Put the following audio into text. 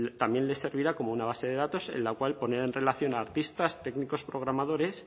también le servirá como una base de datos en la cual pondrá en relación artistas técnicos programadores